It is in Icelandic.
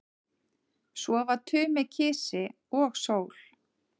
Svo var Tumi kisi og sól.